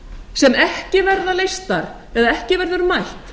sem ekki verða leystar eða ekki verður mætt